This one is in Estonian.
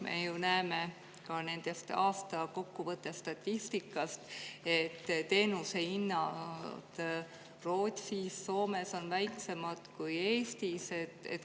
Me ju näeme ka nende aastakokkuvõtte statistikast, et teenuse hinnad Rootsis ja Soomes on väiksemad kui Eestis.